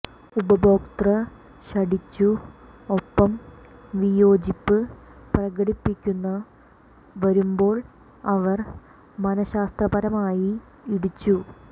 ഉപഭോക്തൃ ശഠിച്ചു ഒപ്പം വിയോജിപ്പ് പ്രകടിപ്പിക്കുന്ന വരുമ്പോൾ അവർ മനഃശാസ്ത്രപരമായി ഇടിച്ചു